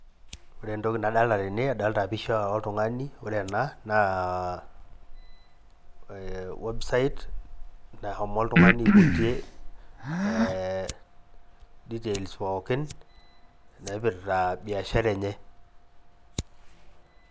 Ore entoki nadolita tena adolita pisha oltungani, ore enaa naa website naishomo oltungani aiputie details pookin naipitra biashara enye .